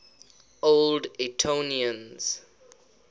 old etonians